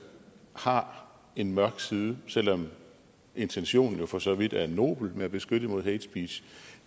har en mørk side selv om intentionen for så vidt er nobel med at beskytte mod hate speech